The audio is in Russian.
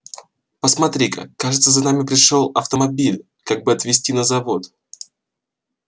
посмотри-ка кажется за нами пришёл автомобиль как бы отвезти на завод